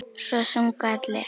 Svo sungu allir.